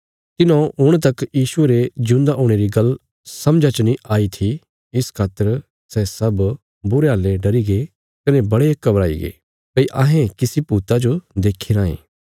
तिन्हौं हुण तक यीशुये रे जिऊंदा हुणे री गल्ल समझा च नीं आई थी इस खातर सै सब बुरे हाल्लें डरीगे कने बड़े घवराईगे भई अहें किसी भूता जो देखी राँये